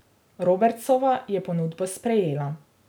Robertsova je ponudbo sprejela.